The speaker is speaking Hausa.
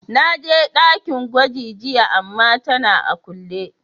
Na je dakin gwagi jiya ama tana a kulle.